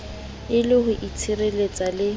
e le ho itshireletsa le